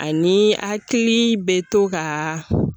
Ani akili be to gaa